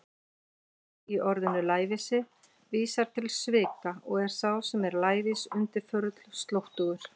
Læ- í orðinu lævísi vísar til svika og er sá sem er lævís undirförull, slóttugur.